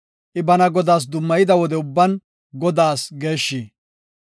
I bana Godaas dummayida wode ubban Godaas geeshshi.